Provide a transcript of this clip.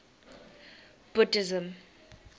buddhism